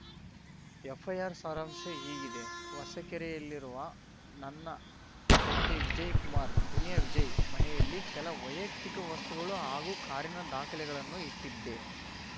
FIR ಸಾರಾಂಶ ಹೀಗಿದೆ ಹೊಸಕೆರೆಯಲ್ಲಿರುವ ನನ್ನ ತಂದೆ ವಿಜಯ್‌ ಕುಮಾರ್‌ ದುನಿಯಾ ವಿಜಯ್‌ ಮನೆಯಲ್ಲಿ ಕೆಲ ವೈಯಕ್ತಿಕ ವಸ್ತುಗಳು ಹಾಗೂ ಕಾರಿನ ದಾಖಲೆಗಳನ್ನು ಇಟ್ಟಿದ್ದೆ